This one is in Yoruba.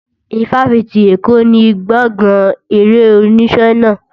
Ifáfitì Èkó ni gbọ̀gán eré-oníṣe náà.